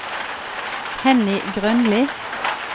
Henny Grønli